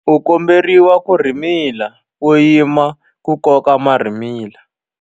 U komberiwa ku rhimila u yima ku koka marhimila.